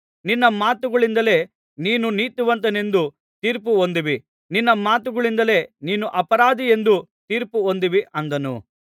ನಿನ್ನ ಮಾತುಗಳಿಂದಲೇ ನೀನು ನೀತಿವಂತನೆಂದು ತೀರ್ಪು ಹೊಂದುವಿ ನಿನ್ನ ಮಾತುಗಳಿಂದಲೇ ನೀನು ಅಪರಾಧಿಯೆಂದು ತೀರ್ಪು ಹೊಂದುವಿ ಅಂದನು